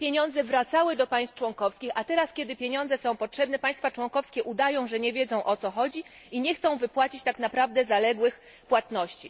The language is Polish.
Pieniądze wracały do państw członkowskich, a teraz, kiedy pieniądze są potrzebne, państwa członkowskie udają, że nie wiedzą o co chodzi i nie chcą wypłacić tak naprawdę zaległych płatności.